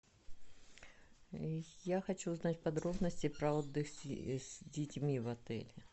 я хочу узнать подробности про отдых с детьми в отеле